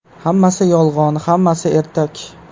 Hammasi yolg‘on, hammasi ertak.